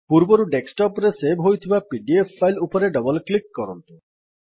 ପୁର୍ବରୁ ଡେସ୍କଟପ୍ ରେ ସେଭ୍ ହୋଇଥିବା ପିଡିଏଫ୍ ଫାଇଲ୍ ଉପରେ ଡବଲ୍ କ୍ଲିକ୍ କରନ୍ତୁ